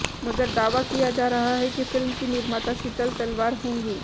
मगर दावा किया जा रहा है कि फिल्म की निर्माता शीतल तलवार होंगी